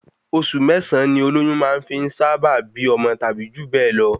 Osù mẹ́sàn-án ni olóyún fi máà sá bá bí ọmọ tàbí jù bẹ́ẹ̀ lọ